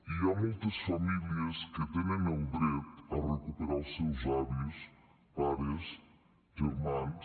hi ha moltes famílies que tenen el dret a recuperar els seus avis pares germans